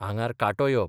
आंगार कांटो येवप.